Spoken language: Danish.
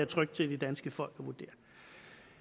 trygt til det danske folk